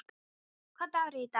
Gabríel, hvaða dagur er í dag?